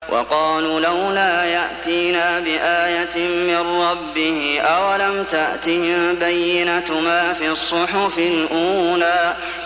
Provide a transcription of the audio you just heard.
وَقَالُوا لَوْلَا يَأْتِينَا بِآيَةٍ مِّن رَّبِّهِ ۚ أَوَلَمْ تَأْتِهِم بَيِّنَةُ مَا فِي الصُّحُفِ الْأُولَىٰ